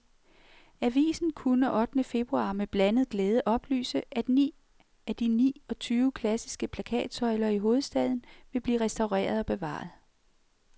Avisen kunne ottende februar med blandet glæde oplyse, at ni af de ni og tyve klassiske plakatsøjler i hovedstaden vil blive restaureret og bevaret.